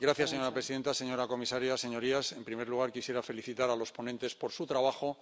Señora presidenta, señora comisaria, señorías, en primer lugar, quisiera felicitar a los ponentes por su trabajo.